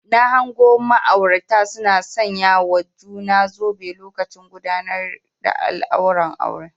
Na hango ma'aurata suna sanyawa juna zobe lokacin gudawar alkawuran aure